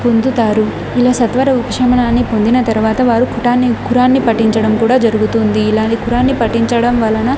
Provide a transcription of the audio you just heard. పొందుతారు ఇలా సత్వర ఉపశమనాన్ని పొందిన తర్వాత వారు కుటాన్ని కురాన్ని పఠించడం కూడా జరుగుతుంది ఇలానే కురాన్ని పటించడం వలన--